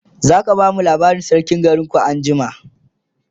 zaka bamu labarin sarkin garinku anjima?